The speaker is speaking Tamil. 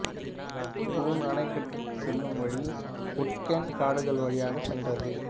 ரூர் அணைக்கட்டுக்குச் செல்லும் வழி ஊர்ட்கென் காடுகள் வழியாகச் சென்றது